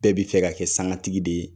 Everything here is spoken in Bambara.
Bɛɛ bi fɛ ka kɛ sangatigi de ye.